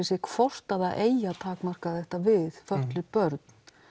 sér hvort að eigi að takmarka þetta við fötluð börn